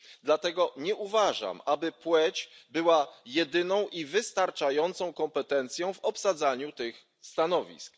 Dlatego nie uważam, aby płeć była jedyną i wystarczającą kompetencją w obsadzaniu tych stanowisk.